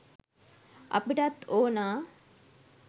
අපිටත් ඕනා